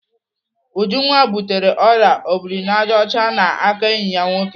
Ujunwa butere ọrịa obirinajọcha n'aka enyi ya nwoke.